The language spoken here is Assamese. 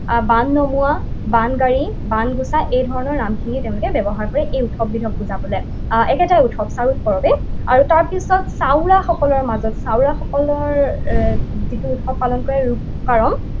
বান নমোৱা, বানগায়ী, বানগুছা এইধৰণৰ নামখিনি তেওঁলোকে ব্যৱহাৰ কৰে এই উৎসৱবিধক বুজাবলে। আহ একেটাই উৎসৱ, চাৰুল পৰৱেই। আৰু তাৰপিছত সকলৰ মাজত সকলৰ যিটো উৎসৱ পালন কৰে,